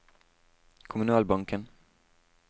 kommunalbanken